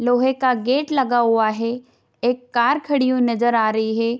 लोहे का गेट लगा हुआ है एक कार खड़ी हुई नजर आ रही है।